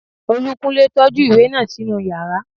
Olúkúnlé tọ́jú ìwé náà sínú yàrá